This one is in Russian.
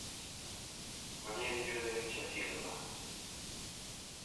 валерия федоровича васильева